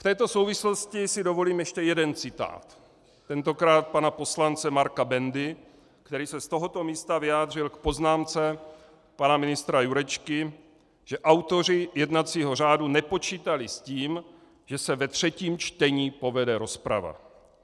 V této souvislosti si dovolím ještě jeden citát, tentokrát pana poslance Marka Bendy, který se z tohoto místa vyjádřil k poznámce pana ministra Jurečky, že autoři jednacího řádu nepočítali s tím, že se ve třetím čtení povede rozprava.